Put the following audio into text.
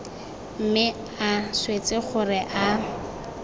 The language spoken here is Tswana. mme a swetse gore a